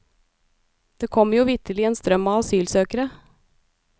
Det kommer jo vitterlig en strøm av asylsøkere?